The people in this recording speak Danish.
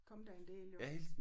Kommet der en del jo